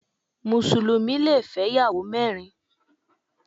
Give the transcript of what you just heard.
Mùsùlùmí le fẹ́ ìyàwó mẹ́rin.